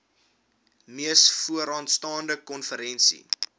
mees vooraanstaande konferensie